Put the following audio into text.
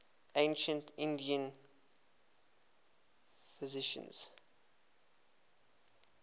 ancient indian physicians